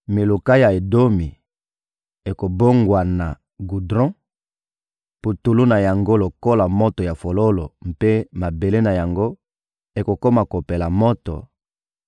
Miluka ya Edomi ekobongwana gudron, putulu na yango, lokola moto ya fofolo mpe mabele na yango ekokoma kopela moto;